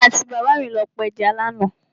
Èmi àti bàbá mi lọ pa ẹja lánàá.